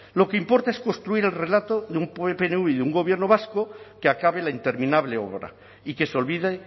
lo que importa es construir el relato de pnv y de un gobierno vasco que acabe la interminable obra y que se olvide